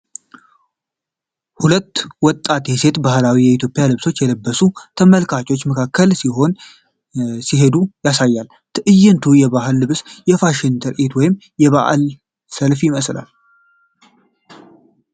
ሁለት ወጣት ሴቶችን በባህላዊ የኢትዮጵያ ልብሶች ለብሰው በተመልካቾች መካከል ሲሄዱ ያሳያል። ትዕይንቱ የባህል ልብስ ፋሽን ትርኢት ወይም የበዓል ሰልፍ ይመስላል።